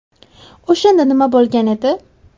O‘shanda nima bo‘lgan edi?.